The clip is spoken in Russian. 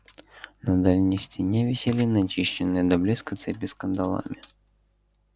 на дальней стене висели начищенные до блеска цепи с кандалами